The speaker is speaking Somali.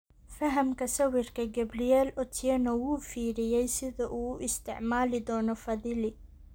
Fahamka sawirka, Gabriel Otieno wuu fiiriyey sida uu u isticmaali doono Fadhili.